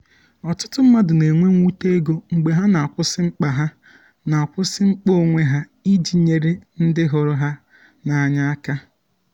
ọtụtụ mmadụ na-enwe mwute ego mgbe ha na-akwụsị mkpa ha na-akwụsị mkpa onwe ha iji nyere ndị hụrụ ha n’anya aka.